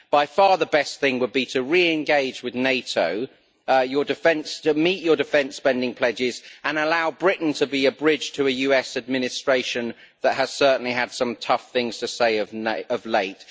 By far the best thing would be to re engage with NATO, meet your defence spending pledges and allow Britain to be a bridge to a US administration that has certainly had some tough things to say of late.